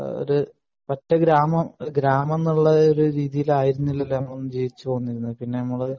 പറ്റെ ഒരു ഗ്രാമം എന്നുള്ള രീതിയിൽ അല്ലല്ലോ നമ്മളൊന്നും ജീവിച്ചുവന്നത്. പിന്നെ നമ്മൾ